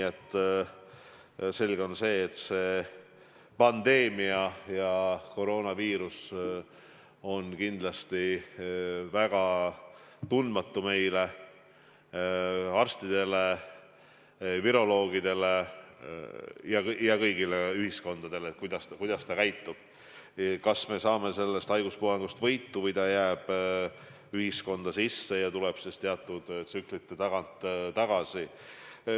On selge, et see pandeemia, koroonaviirus on arstidele ja viroloogidele tundmatu, üheski ühiskonnas pole teada, kuidas ta käitub, kas me saame sellest haiguspuhangust võitu või viirus jääb ühiskonda ja ilmub teatud tsüklite käigus tagasi.